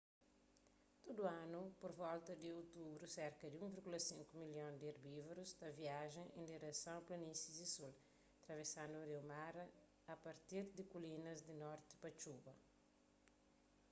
tudu anu pur volta di otubru serka di 1,5 milhon di erbívorus ta viaja en direson a planísis di sul travesandu riu mara a partir di kulinas di norti pa txuba